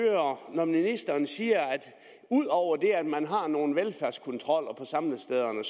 når ministeren siger at ud over at man har nogle velfærdskontroller på samlestederne